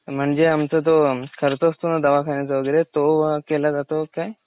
म्हणजे आमचा जो खर्च असतो ना दवाखान्याचा वगैरे तो केला जातो काय?